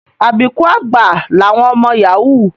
Àbíkú àgbà làwọn ọmọ Yahoo